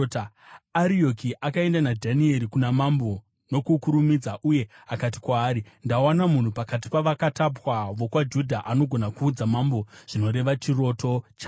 Arioki akaenda naDhanieri kuna mambo nokukurumidza uye akati kwaari, “Ndawana munhu pakati pavakatapwa vokwaJudha anogona kuudza mambo zvinoreva chiroto chavo.”